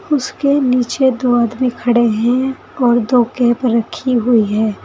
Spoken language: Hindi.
उसके नीचे दो आदमी खड़े हैं और दो कैप रखी हुई है।